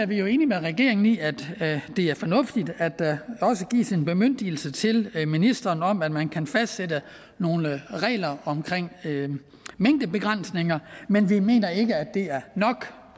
vi jo enige med regeringen i at det er fornuftigt at der også gives en bemyndigelse til ministeren om at man kan fastsætte nogle regler omkring mængdebegrænsninger men vi mener ikke at det er nok